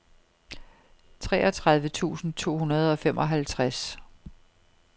treogtredive tusind to hundrede og femoghalvtreds